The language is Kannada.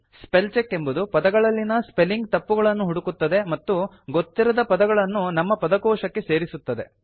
ಸ್ಪೆಲ್ ಚೆಕ್ ಎಂಬುದು ಪದಗಳಲ್ಲಿನ ಸ್ಪೆಲ್ಲಿಂಗ್ ತಪ್ಪುಗಳನ್ನು ಹುಡುಕುತ್ತದೆ ಮತ್ತು ಗೊತ್ತಿರದ ಪದಗಳನ್ನು ನಮ್ಮ ಪದಕೋಶಕ್ಕೆ ಸೇರಿಸುತ್ತದೆ